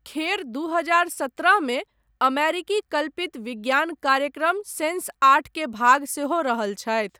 खेर दू हजार सत्रह मे अमेरिकी कल्पित विज्ञान कार्यक्रम सेन्सआठ के भाग सेहो रहल छथि।